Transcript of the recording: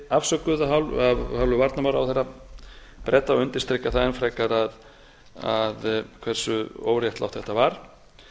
afsökuð af hálfu varnarmálaráðherra breta og undirstrikar það enn frekar hversu óréttlátt þetta var